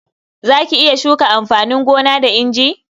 Za ki iya shuka amfanin gona da inji?